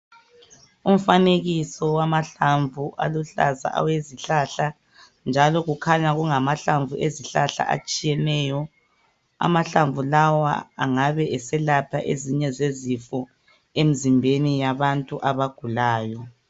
Umfanekiso wamahlamvu aluhlaza awezihlahla njalo kukhanya kungamahlamvu ezihlahla atshiyeneyo. Amahlamvu lawa angabe eselapha ezinye zezifo emzimbeni yabantu abagulayo.